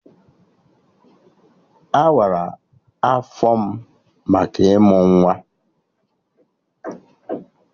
Awara afọ m maka ịmụ nwa